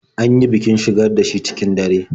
An yi bikin shigar da shi cikin dare.